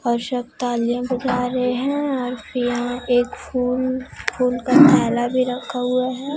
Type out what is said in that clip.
और सब तालिया बजा रहे हैं और यहां एक फूल फूल का थैला भी रखा हुआ है।